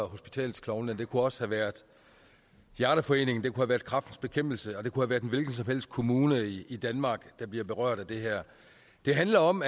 hospitalsklovne det kunne også have været hjerteforeningen det kunne have været kræftens bekæmpelse og det kunne have været en hvilken som helst kommune i i danmark der blev berørt af det her det handler om